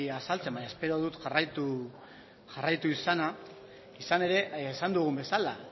azaltzen baina espero dut jarraitu izana izan ere esan dugun bezala